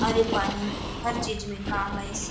आउर ए पानी हर चीज मे काम ऐयेसे।